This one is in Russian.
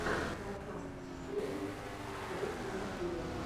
подкаст сесейм стрит на ютюбе